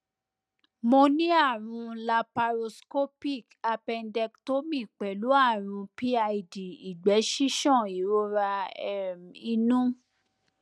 mo ní àrùn laparoscopic appendectomy pẹlú àrùn pid ìgbẹ ṣíṣàn ìrora um inú